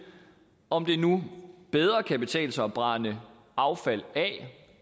om det nu bedre kan betale sig at brænde affald af